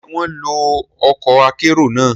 Ṣe wọn lo ọkọ akero náà?